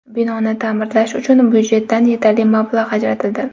Binoni ta’mirlash uchun budjetdan yetarli mablag‘ ajratildi.